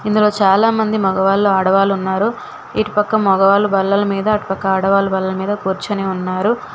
ఇందులో చాలామంది మగవాళ్ళు ఆడవాళ్ళు ఉన్నారు ఇటు పక్క మగవాళ్ళు బల్లల మీద అటు పక్క ఆడవాళ్లు బల్లల మీద కూర్చొని ఉన్నారు.